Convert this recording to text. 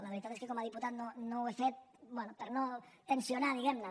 la veritat és que com a diputat no ho he fet bé per no tensionar diguem ne